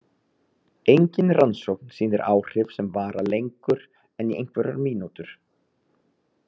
Engin rannsókn sýnir áhrif sem vara lengur en í einhverjar mínútur.